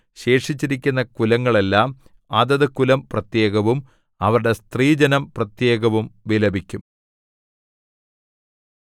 ശേഷിച്ചിരിക്കുന്ന കുലങ്ങളെല്ലാം അതത് കുലം പ്രത്യേകവും അവരുടെ സ്ത്രീജനം പ്രത്യേകവും വിലപിക്കും